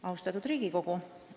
Austatud Riigikogu!